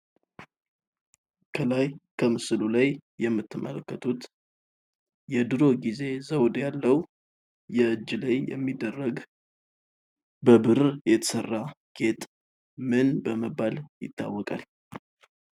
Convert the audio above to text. ከላይ ከምስሉ ላይ የምትመለከቱት የድሮ ጊዜ ዘወድ ያለው የእጅ ላይ የሚደረግ በብር የተሰራ ጌጥ ምን በመባል ይታወቃል።